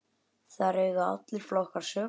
Þar eiga allir flokkar sök.